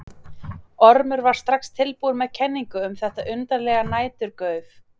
Ormur var strax tilbúinn með kenningu um þetta undarlega næturgauf.